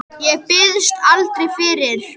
Og minni.